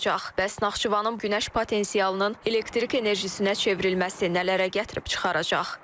Bəs Naxçıvanın günəş potensialının elektrik enerjisinə çevrilməsi nələrə gətirib çıxaracaq?